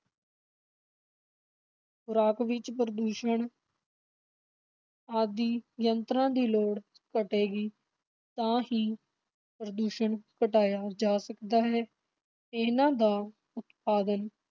ਖੁਰਾਕ ਵਿੱਚ ਪ੍ਰਦੂਸ਼ਣ ਆਦਿ ਯੰਤਰਾਂ ਦੀ ਲੋੜ ਘਟੇਗੀ, ਤਾਂ ਹੀ ਪ੍ਰਦੂਸ਼ਣ ਘਟਾਇਆ ਜਾ ਸਕਦਾ ਹੈ, ਇਨ੍ਹਾਂ ਦਾ ਉਤਪਾਦਨ